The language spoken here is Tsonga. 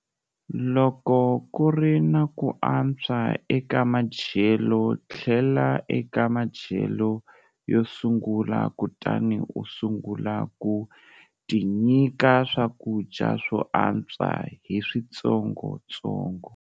Loko ku ri na ku antswa eka madyelo, tlhela eka madyelo yo sungula kutani u sungula ku tinyika swakudya swo antswa hi switsongotsongo.